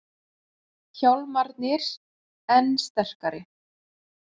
Hjálmarnir enn sterkari